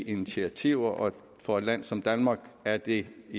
initiativer og for et land som danmark er det